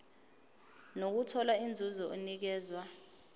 nokuthola inzuzo enikezwa